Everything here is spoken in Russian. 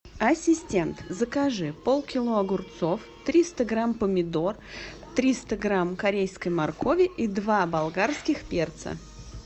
ассистент закажи пол кило огурцов триста грамм помидор триста грамм корейской моркови и два болгарских перца